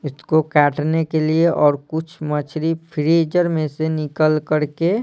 इसको काटने के लिए और कुछ मछली फ्रीजर में से निकल कर के--